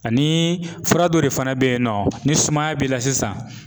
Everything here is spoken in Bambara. Ani fura dɔ de fana be yen nɔ, ni sumaya b'i la sisan